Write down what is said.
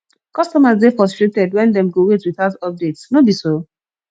customers dey frustrated wen dem go wait without updates no be so